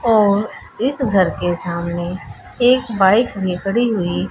और इस घर के सामने एक बाइक में खड़ी हुई--